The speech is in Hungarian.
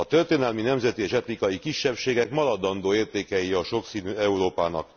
A történelmi, nemzeti és etnikai kisebbségek maradandó értékei a sokszínű Európának.